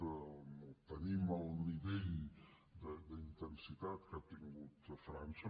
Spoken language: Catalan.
no tenim el nivell d’intensitat que ha tingut a frança